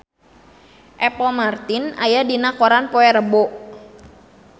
Apple Martin aya dina koran poe Rebo